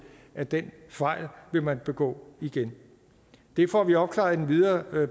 at den fejl vil man begå igen det får vi opklaret i den videre